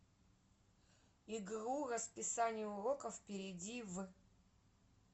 игру расписание уроков перейди в